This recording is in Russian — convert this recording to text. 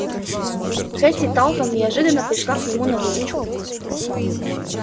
хэтти талтон неожиданно пришла к нему на выручку